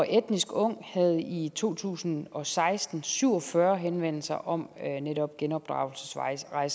etnisk ung havde i to tusind og seksten syv og fyrre henvendelser om netop genopdragelsesrejser